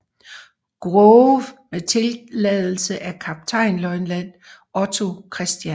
Grove med tilladelse af kaptajnløjtnant Otto Chr